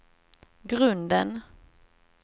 grunden